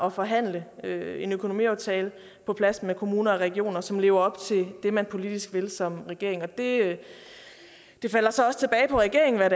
at forhandle en økonomiaftale på plads med kommuner og regioner som lever op til det man politisk vil som regering regering det falder så også tilbage på regeringen hvad